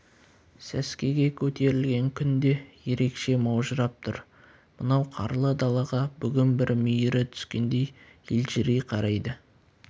сәскеге көтерілген күн де ерекше маужырап тұр мынау қарлы далаға бүгін бір мейірі түскендей елжірей қарайды